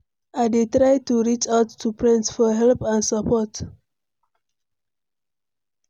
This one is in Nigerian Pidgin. I dey try to reach out to friends for help and support.